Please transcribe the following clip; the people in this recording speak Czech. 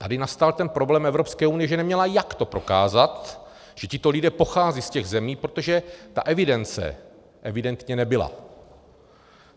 Tady nastal ten problém Evropské unie, že neměla, jak to prokázat, že tito lidé pocházejí z těch zemí, protože ta evidence evidentně nebyla.